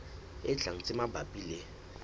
e tlang tse mabapi le